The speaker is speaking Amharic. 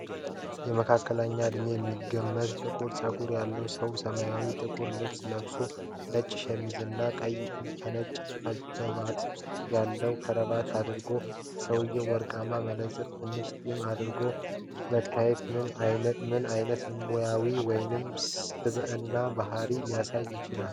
የመካከለኛ ዕድሜ የሚገመት ጥቁር ፀጉር ያለው ሰው ሰማያዊ ጥቁር ልብስ ለብሶ፣ ነጭ ሸሚዝና ቀይ ከነጭ ነጠብጣቦች ያለው ክራቫት አስሮአል። ሰውዬው ወርቃማ መነጽርና ትንሽ ጢም አድርጎ መታየቱ ምን ዓይነት ሙያዊ ወይም ስብዕና ባህሪን ሊያሳይ ይችላል?